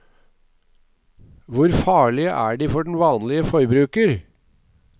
Hvor farlige er de for den vanlige forbruker?